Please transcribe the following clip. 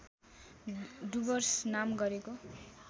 डुवर्स नाम गरेको